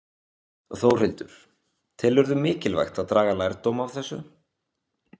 Þórhildur: Telurðu mikilvægt að draga lærdóm af þessu?